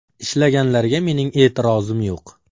Ishlaganlarga mening e’tirozim yo‘q.